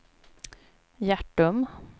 Hjärtum